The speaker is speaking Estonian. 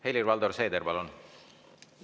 Helir-Valdor Seeder, palun!